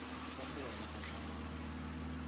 kwa go wena ka tlhamalalo